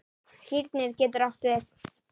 Skírnir getur átt við